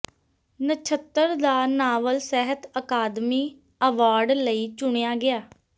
ਨਛੱਤਰ ਦਾ ਨਾਵਲ ਸਾਹਿਤ ਅਕਾਦਮੀ ਐਵਾਰਡ ਲਈ ਚੁਣਿਆ ਗਿਆ